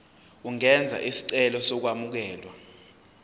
ungenza isicelo sokwamukelwa